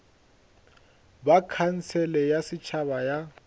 ba khansele ya setšhaba ya